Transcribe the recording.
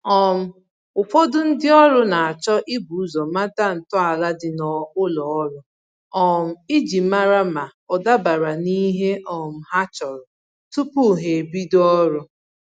um Ụfọdụ ndị ọrụ na-achọ ibu ụzọ mata ntọala ndị ụlọ ọrụ um iji mara ma ọ dabara n'ihe um ha chọrọ tupu ha ebido ọrụ